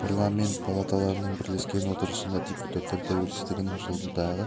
парламент палаталарының бірлескен отырысында депутаттар тәуелсіздігінің жылдығы